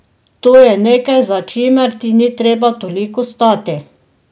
To je nekaj, za čimer ti ni treba toliko stati.